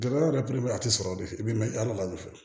Dɛmɛ yɛrɛ belebeleba tɛ sɔrɔ de fɛ i bɛ mɛn ala de fɛ